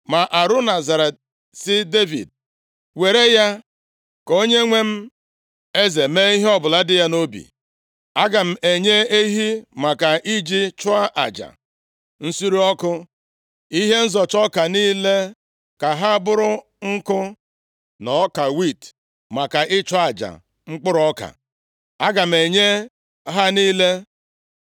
Ma Arauna zara sị Devid, “Were ya ka onyenwe m eze mee ihe ọbụla dị ya nʼobi. Aga m enye ehi maka iji chụọ aja nsure ọkụ, ihe nzọcha ọka niile ka ha bụrụ nkụ na ọka wiiti maka ịchụ aja mkpụrụ ọka. Aga m enye ha niile.”